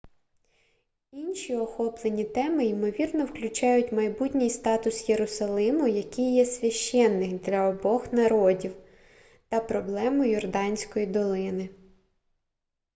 інші охоплені теми ймовірно включають майбутній статус єрусалиму який є священним для обох народів та проблему йорданської долини